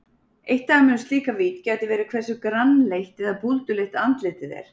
Eitt dæmi um slíka vídd gæti verið hversu grannleitt eða búlduleitt andlitið er.